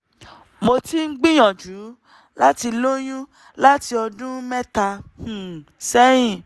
mo ti ń gbìyànjú láti lóyún láti ọdún mẹ́ta um sẹ́yìn